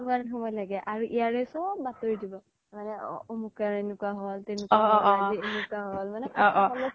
আৰু ইয়াৰে চ্'ব বাতৰি দিব মানে অমোকৰ এনেকুৱা হ্'ল তেনেকুৱা হ্'ল